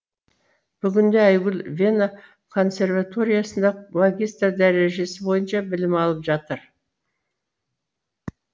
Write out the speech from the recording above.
бүгінде айгүл вена консерваториясында магистр дәрежесі бойынша білім алып жатыр